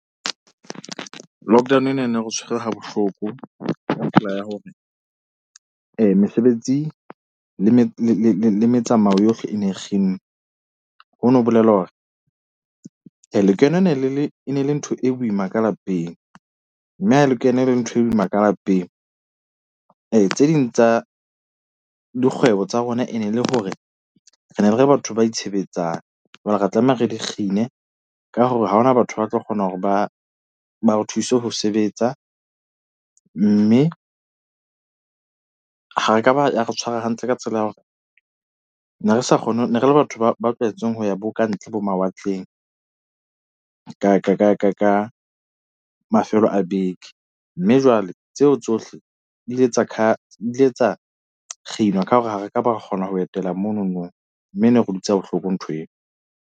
Lockdown e na e ne re tshwere ha bohloko mesebetsi le le le le le metsamao yohle e ne kginnwe, hono ho bolela hore , lekeno ne le le le e ne le ntho e boima ka lapeng. Mme ha lekeno e ne le ntho e boima ka lapeng. Tse ding tsa dikgwebo tsa rona e ne le hore re ne re le batho ba itshebetsang. Jwale re tlameha re di kgine ka hore ha hona batho ba tlo kgona hore ba ba re thuse ho sebetsa. Mme ha re ka ba ya re tshwara hantle ka tsela ya hore ne re sa kgone ne re le batho ba ba tlwaetseng ho ya bo kantle bomawatleng ka ka ka ka mafelo a beke. Mme jwale tseo tsohle di ile di ile tsa kginwa ka hore ha re ka ba ra kgona ho etela mono no mme ne re dutse bohloko ntho eo.